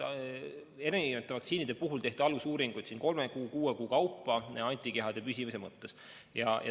Erinevate vaktsiinide puhul tehti alusuuringud antikehade püsimise suhtes kolme kuu kuni kuue kuu kaupa.